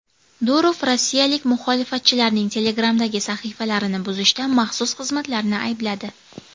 Durov rossiyalik muxolifatchilarning Telegram’dagi sahifalarini buzishda maxsus xizmatlarni aybladi.